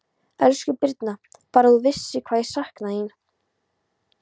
Elsku Birna, Bara að þú vissir hvað ég sakna þín.